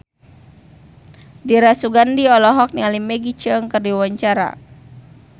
Dira Sugandi olohok ningali Maggie Cheung keur diwawancara